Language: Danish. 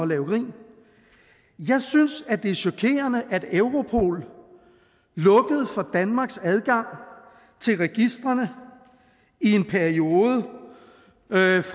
lave grin jeg synes at det er chokerende at europol lukkede for danmarks adgang til registrene i en periode